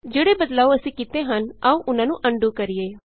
ਜਿਹੜੇ ਬਦਲਾਉ ਅਸੀਂ ਕੀਤੇ ਹਨ ਆਉ ਉਹਨਾਂ ਨੂੰ ਅਨਡੂ ਕਰੀਏ